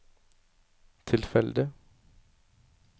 tilfeldig